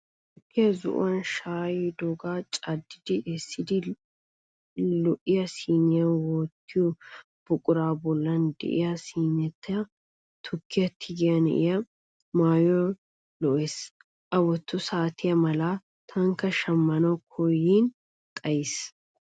Tukkiya zo"uwan shaayidoogaa caddi essiddi lo"iyaa siniyaa wottiyoo buquraa bollan de'iyaa siiniyaan tukkiya tigiyaa na"ee maayoy lo"ees. A wotto saatiyaa malaa tankka shaamanawu koyyin xayis.